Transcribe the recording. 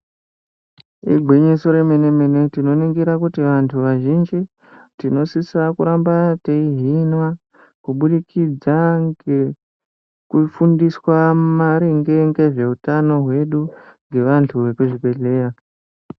Igwinyiso remene-mene , tinoningira kuti vantu vazhinji tinosisa kuramba teihinwa kubudikidza ngekufundiswa maringe ngezveutano hwedu ngevantu vekuzvibhedhlera.